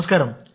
నమస్కారం సార్